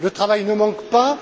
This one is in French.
Le travail ne manque pas.